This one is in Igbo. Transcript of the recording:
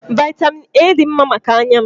Vaịtamịn A dị mma maka anya m.